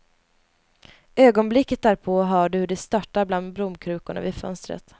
Ögonblicket därpå hör du hur det störtar bland blomkrukorna vid fönstret.